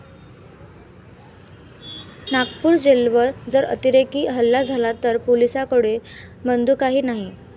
नागपूर जेलवर जर अतिरेकी हल्ला झाला तर पोलिसांकडे बंदुकाही नाही'